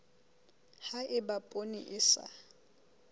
ha eba poone e sa